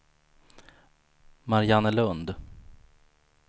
Mariannelund